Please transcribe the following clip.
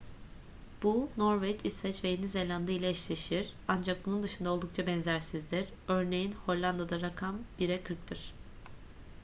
bu norveç i̇sveç ve yeni zelanda ile eşleşir. ancak bunun dışında oldukça benzersizdir. örneğin hollanda'da rakam bire kırktır